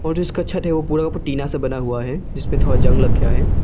और जो इसका छत है वो पूरा टीना से बना हुआ है जिस पे थोड़ा जंग लग गया है।